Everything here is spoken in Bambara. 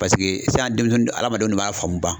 Paseke sisan denmisɛnnin adamadenw de b'a faamu